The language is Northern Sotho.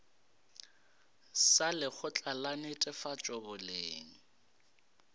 sa lekgotla la netefatšo boleng